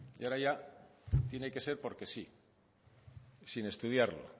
y ahora ya tiene que ser porque sí sin estudiarlo